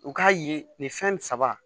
U k'a ye nin fɛn saba